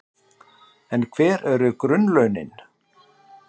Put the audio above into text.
En hver eru grunnlaunin?